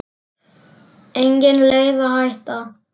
Engin leið að hætta.